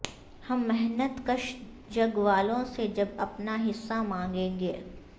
ہم محنت کش جگ والوں سے جب اپنا حصہ مانگیں گے